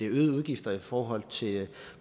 øgede udgifter i forhold til